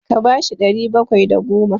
Ka ba shi ɗari bakwai da goma!